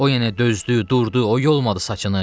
O yenə dözdü, durdu, o yolmadı saçını.